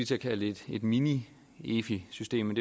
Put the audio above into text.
til at kalde det et mini efi system